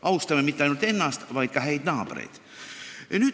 Austame mitte ainult ennast, vaid ka häid naabreid.